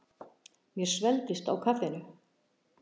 Mér svelgdist á kaffinu.